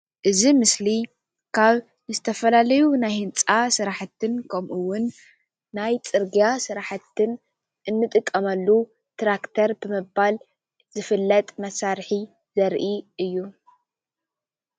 እዚ ምስሊ ካብ ዝተፈላለዩ ናይ ህንፃ ስራሕትን ከምኡ እውን ናይ ፅርግያ ስራሕትን እንጠቀመሉ ትራክተር ብምባል ዝፍለጥ መሳርሒ ዘርኢ እዩ፡፡